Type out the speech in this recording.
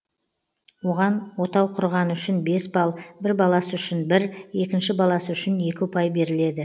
оған отау құрғаны үшін бес балл бір баласы үшін бір екінші баласы үшін екі ұпай беріледі